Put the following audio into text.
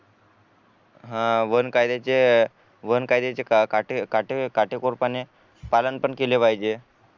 आह वन कायद्याचे काटे काटे अह काटेकोरपणे पालन पण केले पाहिजे